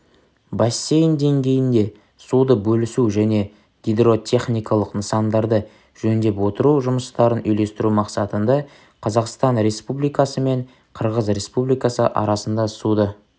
бассейн деңгейінде суды бөлісу және гидротехникалық нысандарды жөндеп отыру жұмыстарын үйлестіру мақсатында қазақстан республикасы мен қырғыз республикасы арасында суды